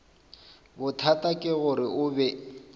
bothata ke gore o be